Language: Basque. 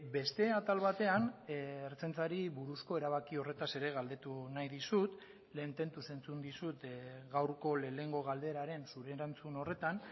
beste atal batean ertzaintzari buruzko erabaki horretaz ere galdetu nahi dizut lehen tentuz entzun dizut gaurko lehenengo galderaren zure erantzun horretan